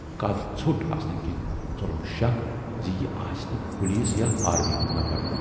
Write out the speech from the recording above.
قَد ژھوٹ آسنہٕ کِنۍ ژولُم شکھ زِ یہِ آسہِ نہٕ پُلسہٕ یا آرمی ہُند نفر۔